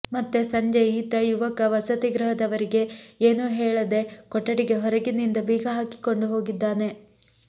ಮತ್ತೆ ಸಂಜೆ ಈತ ಯುವಕ ವಸತಿಗೃಹದವರಿಗೆ ಏನೂ ಹೇಳದೇ ಕೊಠಡಿಗೆ ಹೊರಗಿನಿಂದ ಬೀಗ ಹಾಕಿಕೊಂಡು ಹೋಗಿದ್ದಾನೆ